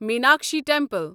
Meenakshi temple